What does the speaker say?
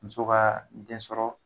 Muso kaa den sɔrɔ